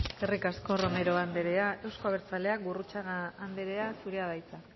eskerrik asko romero anderea euzko abertzaleak gurrutxaga anderea zurea da hitza